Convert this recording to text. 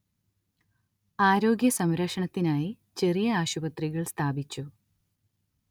ആരോഗ്യസംരക്ഷണത്തിനായി ചെറിയ ആശുപത്രികൾ സ്ഥാപിച്ചു